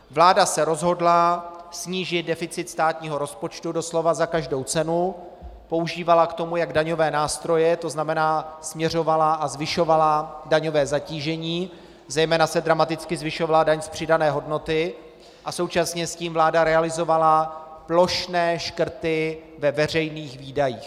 Vláda se rozhodla snížit deficit státního rozpočtu doslova za každou cenu, používala k tomu jak daňové nástroje, to znamená směřovala a zvyšovala daňové zatížení, zejména se dramaticky zvyšovala daň z přidané hodnoty, a současně s tím vláda realizovala plošné škrty ve veřejných výdajích.